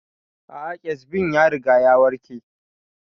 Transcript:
A'a kyazbin ya riga ya warke